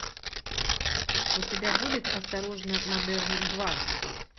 у тебя будет осторожно модерн два